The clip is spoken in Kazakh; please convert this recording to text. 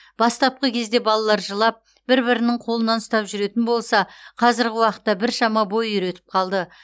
бастапқы кезде балалар жылап бір бірінің қолынан ұстап жүретін болса қазіргі уақытта біршама бой үйретіп қалды